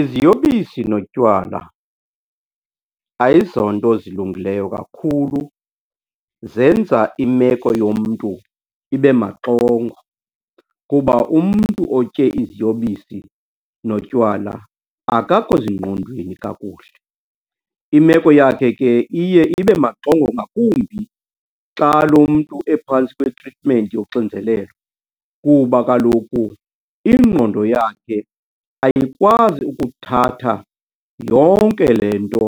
Iziyobisi notywala ayizonto zilungileyo kakhulu. Zenza imeko yomntu ibe maxongo kuba umntu otye iziyobisi notywala akakho zingqondweni kakuhle. Imeko yakhe ke iye ibe maxongo ngakumbi xa lo mntu ephantsi kwetritimenti yoxinzelelo kuba kaloku ingqondo yakhe ayikwazi ukuthatha yonke le nto .